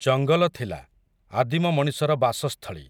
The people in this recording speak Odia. ଜଙ୍ଗଲ ଥିଲା, ଆଦିମ ମଣିଷର ବାସସ୍ଥଳୀ ।